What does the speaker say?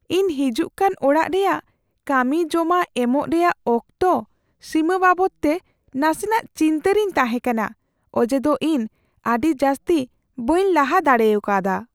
ᱤᱧ ᱦᱤᱡᱩᱜᱠᱟᱱ ᱚᱲᱟᱜ ᱨᱮᱭᱟᱜ ᱠᱟᱹᱢᱤ ᱡᱚᱢᱟ ᱮᱢᱚᱜ ᱨᱮᱭᱟᱜ ᱚᱠᱛᱚ ᱥᱤᱢᱟᱹ ᱵᱟᱵᱚᱫᱛᱮ ᱱᱟᱥᱮᱱᱟᱜ ᱪᱤᱱᱛᱟᱹᱜᱮᱧ ᱨᱤᱧ ᱛᱟᱦᱮᱸ ᱠᱟᱱᱟ ᱚᱡᱮᱫᱚ ᱤᱧ ᱟᱹᱰᱤ ᱡᱟᱹᱥᱛᱤ ᱵᱟᱹᱧ ᱞᱟᱦᱟ ᱫᱟᱲᱮ ᱠᱟᱣᱫᱟ ᱾